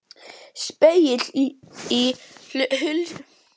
Spegill í hulstri til að hafa í tjaldinu.